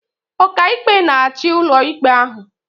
Ọkàikpe na-achị ụlọikpe ahụ